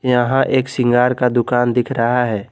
यहां एक सिंगार का दुकान दिख रहा है।